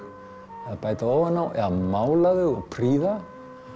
eða bæta ofan á eða mála þau og prýða